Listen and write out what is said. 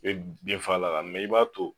E be binfagala la i b'a to